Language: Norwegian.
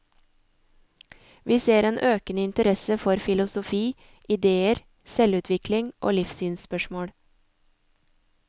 Vi ser en økende interesse for filosofi, idéer, selvutvikling og livssynsspørsmål.